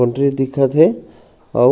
boundary दिखत हे आऊ--